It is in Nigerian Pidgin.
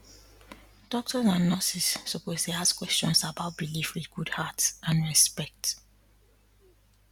doctors and nurses suppose dey ask questions about belief with good heart and respect